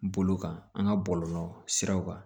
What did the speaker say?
Bolo kan an ka bɔlɔlɔ siraw kan